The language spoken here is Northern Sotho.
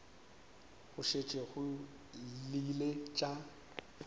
go šetše go llile tša